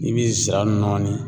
I bi zira nɔni